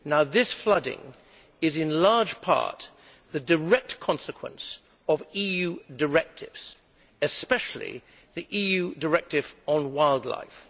This flooding is in large part the direct consequence of EU directives, especially the EU directive on wildlife.